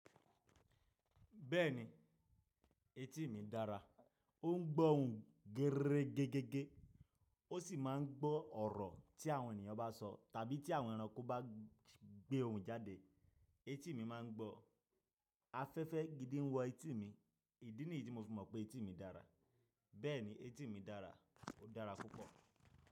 Bẹ́ẹ̀ni, etí mi dára. Ó ń gbọ́ ohùn geré gẹ́gẹ́gẹ́. Ó sì máa ń gbọ́ ọ̀rọ̀ tí àwọn ènìyàn bá sọ tàbí tí àwọn ẹranko bá gbé ohùn jáde, etí mi máa ń gbọ́. Afẹ́fẹ́ gidi ń wọ etí mi. Ìdí nìyí tí mo fùnmọ̀ pé etí mi dára. Bẹ́ẹ̀ni, etí mi dára. Ó dára púpọ̀.